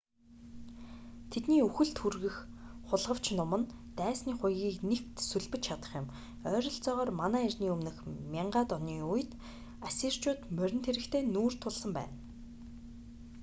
тэдний үхэлд хүргэх хулгавч нум нь дайсны хуягыг нэвт сүлбэж чадах юм ойролцоогоор мэө 1000-д оны үед ассирчууд морин цэрэгтэй нүүр тулсан байна